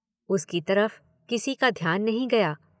उसकी तरफ किसी का ध्यान नहीं गया।